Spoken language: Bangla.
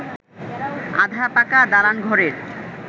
আধা পাকা দালান ঘরের